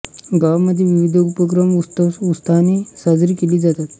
गावामध्ये विविध उपक्रम उत्सव उत्साहाने साजरी केली जातात